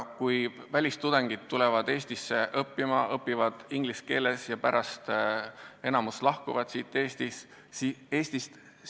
Välistudengid tulevad Eestisse õppima, õpivad inglise keeles ja pärast enamik lahkub siit Eestist.